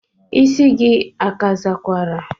Isi gi ka azakwara?